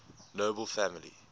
nobel family